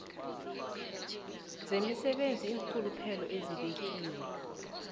zomsebenzi iinrhuluphelo ezibekiwe